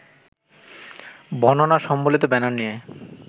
বর্ণনা সম্বলিত ব্যানার নিয়ে